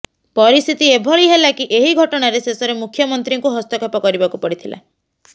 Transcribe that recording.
ପରିସ୍ଥିତି ଏଭଳି ହେଲା କି ଏହି ଘଟଣାରେ ଶେଷରେ ମୁଖ୍ୟମନ୍ତ୍ରୀଙ୍କୁ ହସ୍ତକ୍ଷେପ କରିବାକୁ ପଡିଥିଲା